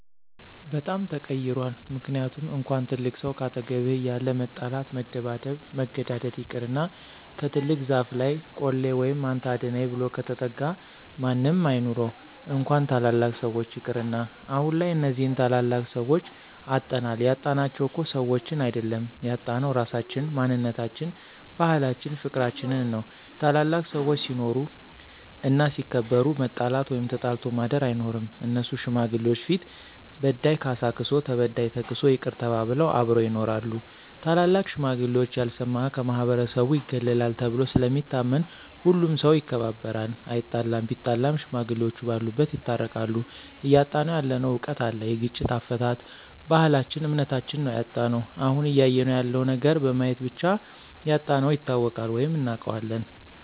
በጣም ተቀይሯል ምክንያቱም እንኳን ትልቅ ሰው ካጠገብህ እያለ መጣላት መደባደብ መገዳደል ይቅርና ከትልቅ ዛፍ ለይ ቆሌ ወይም አንተ አድነኝ ብሎ ከተጠጋ ማንም አይኑረው እንኳን ታላላቅ ሰዎች ይቅርና። አሁንላይ እነዚህን ታላላቅ ሰዎች አጠናል ያጣናቸው እኮ ሰዎችን አይድል ያጣነው ራሳችን፣ ማንነታችን፣ ባህላችን ፍቅርችንን ነው። ታላላቅ ሰዎች ሲኖሩ እና ሲከበሩ መጣላት ወይም ተጣልቶ ማድር አይኖርም እነሱ ሽማግሌዎች ፊት በዳይ ካሳ ክሶ ተበዳይ ተክሶ ይቅር ተባብለው አብረው ይኖራሉ። ታላላቅ ሽማግሌዎች ያልሰማ ከማህበረሰቡ ይገለላል ተብሎ ስለሚታመን ሁሉም ሠው ይከባበራል አይጣለም ቢጣላም ሽማግሌዎቹ በሉበት ይታረቃሉ። እያጣነው ያለነው እውቀት አለ የግጭት አፈታት፣ ባህልች እምነታችም ነው ያጣነው። አሁን እያየነው ያለው ነገር በማየት ብቻ ያጣነውን ይታወቃል ወይም እናውቃለን።